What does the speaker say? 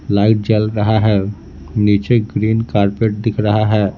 Light जल रहा है नीचे ग्रीन कार्पेट दिख रहा है।